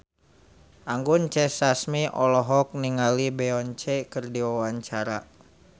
Anggun C. Sasmi olohok ningali Beyonce keur diwawancara